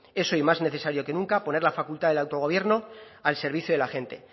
es hoy más necesario que nunca poner la facultad del autogobierno al servicio de la gente